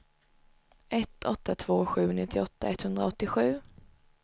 ett åtta två sju nittioåtta etthundraåttiosju